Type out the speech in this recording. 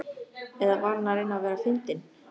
Eða var hann að reyna að vera fyndinn?